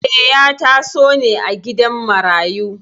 Eh, ya taso ne a gidan marayu.